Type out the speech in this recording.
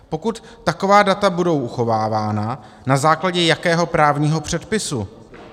Pokud taková data budou uchovávána, na základě jakého právního předpisu?